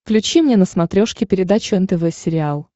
включи мне на смотрешке передачу нтв сериал